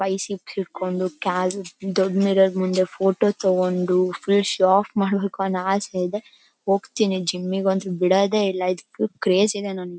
biceps ಹಿಡ್ಕೊಂಡು ಕಾಲ್ ದೊಡ್ ಮಿರರ್ ಮುಂದೆ ಫೋಟೋ ತಕೊಂಡು ಆಫ್ ಮಾಡಬೇಕು ಅನ್ನೋ ಆಸೆ ಇದೆ ಹೋಗತೀನಿ ಜಿಮ್ಗೆ ಅಂತುನೂ ಬಿಡೋದೇ ಇಲ್ಲಾ ಇದ್ ಫುಲ್ ಕ್ರೇಜ್ ಇದೆ ನಂಗೆ --